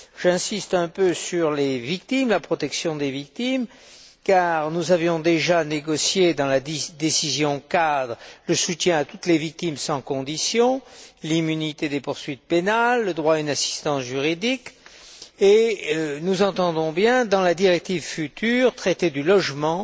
J'insiste un peu sur les victimes, la protection des victimes, car nous avions déjà négocié dans la décision cadre le soutien à toutes les victimes sans conditions, l'immunité des poursuites pénales, le droit à une assistance juridique et nous entendons bien, dans la directive future, traiter du logement,